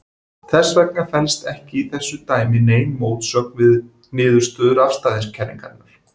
Þess vegna felst ekki í þessu dæmi nein mótsögn við niðurstöður afstæðiskenningarinnar.